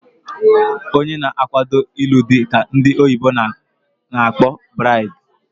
Onye na akwado ilu dị ka ndị oyibo na akpọ bridi